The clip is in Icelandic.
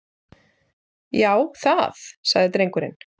Já, það- sagði drengurinn.